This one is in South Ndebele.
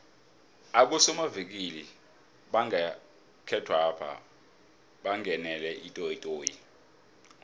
abosomavikili bangekhethwapha bangenele itoyitoyi